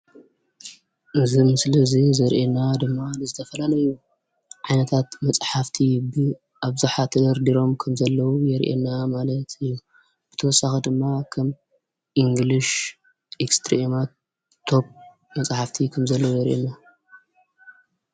እዚ ምስሊ እዚ ዘርእየና ድማ ዝተፈላላዩ ዓይነታት መፃሓፍቲ ብኣብዛሓ ተደርዲሮም ከም ዘለው የርእና። ብተወሳኪ ድማ እንግሊሽ ኤክስ ትሬማን ቶብ መፃሓፍቲ ከም ዘለው ይርእየና ።